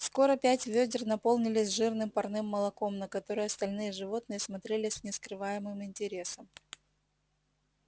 скоро пять вёдер наполнились жирным парным молоком на которое остальные животные смотрели с нескрываемым интересом